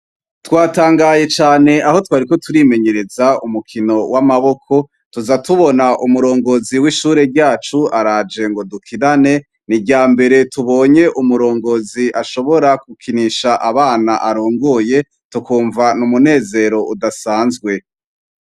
Twatangaye can' aho twariko turimenyerez' umukino w' amaboko tuza tubon' umurongozi w' ishure ryac' araje ngo dukinane, nirya mbere tubony' umurongozi ashobora gukinish' aban' arongoye tukumva n 'umunezer' udasanzwe.